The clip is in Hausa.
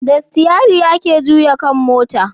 Da sitiyari ake juya kan mota